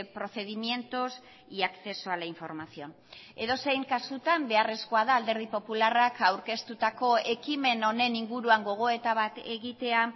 procedimientos y acceso a la información edozein kasutan beharrezkoa da alderdi popularrak aurkeztutako ekimen honen inguruan gogoeta bat egitea